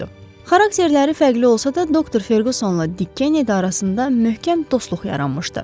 Xarakterləri fərqli olsa da, doktor Ferqusonla Dik Kenedi arasında möhkəm dostluq yaranmışdı.